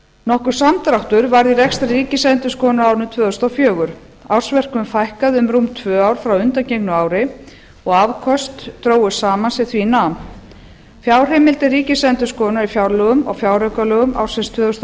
nokkur samdráttur varð í rekstri ríkisendurskoðunar á árinu tvö þúsund og fjögur ársverkum fækkaði um rúm tvö frá undangengnu ári og afköst drógust saman sem því nam fjárheimildir ríkisendurskoðunar í fjárlögum og fjáraukalögum ársins tvö þúsund og